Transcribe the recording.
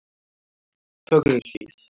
Fögruhlíð